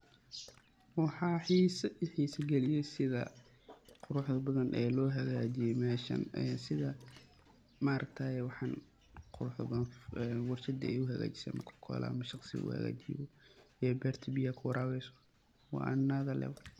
Waxa I xeesa kaliyay setha Quraxda bathan oo lo hakajeeye meshan, ee setha maaragtaye , waxan Quraxda bathan warshada lohakajeeyoh shaqsi ee beerta beeyaha ku warabisoh wa another level.